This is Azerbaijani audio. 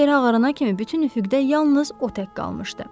Dan yeri ağarana kimi bütün üfüqdə yalnız o tək qalmışdı.